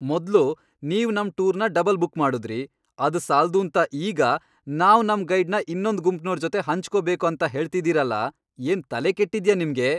ಮೊದ್ಲು, ನೀವ್ ನಮ್ ಟೂರ್ನ ಡಬಲ್ ಬುಕ್ ಮಾಡುದ್ರಿ, ಅದ್ ಸಾಲ್ದೂಂತ ಈಗ ನಾವ್ ನಮ್ ಗೈಡ್ನ ಇನ್ನೊಂದ್ ಗುಂಪ್ನೋರ್ ಜೊತೆ ಹಂಚ್ಕೊಬೇಕು ಅಂತ್ ಹೇಳ್ತಾ ಇದೀರಲ, ಏನ್ ತಲೆ ಕೆಟ್ಟಿದ್ಯಾ ನಿಮ್ಗೆ?